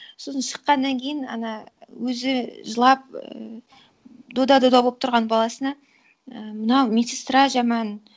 сосын шыққаннан кейін ана өзі жылап ііі дода дода болып тұрған баласына і мынау медсестра жаман